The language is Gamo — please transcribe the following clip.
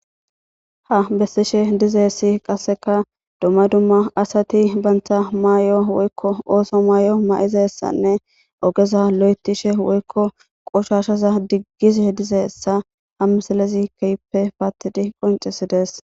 Ha besishe dizaysi qaseka dumma dumma asati banta mayo woyikko ooso mayo maizaysane ogeza loyitishe woyikko qoshshaza digize dizaysa ha misilezi kehippe patidi qoncisides.